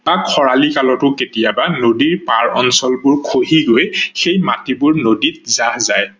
তাক খৰালি কালটো কেতিয়াবা নদী পাৰ অঞ্চলবোৰ খহি গৈ সেই মাটি বোৰ নদীত জাহ যায়।